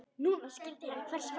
Núna skildi hann hvers vegna.